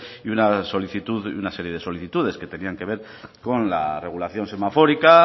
y una solicitud una serie de solicitudes que tenían que ver con la regulación semafórica